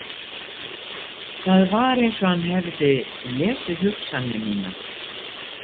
Það var eins og hann hefði lesið hugsanir mínar.